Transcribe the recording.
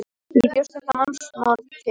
Þú bjóst þetta mannsmorð til.